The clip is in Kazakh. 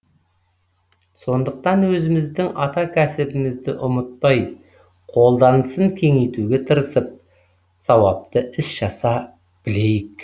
сондықтан өзіміздің ата кәсібімізді ұмытпай қолданысын кеңейтуге тырысып сауапты іс жасай білейік